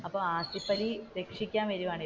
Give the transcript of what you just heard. അപ്പോ ആസിഫലി രക്ഷിക്കാൻ വരുവാണ്.